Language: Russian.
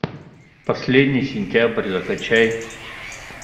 последний сентябрь закачай